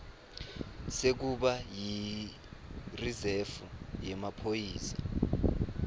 sekuba yirizefu yemaphoyisa